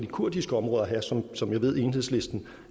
kurdiske områder som som jeg ved enhedslisten